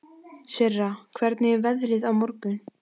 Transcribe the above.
Sirra, hvernig er veðrið á morgun?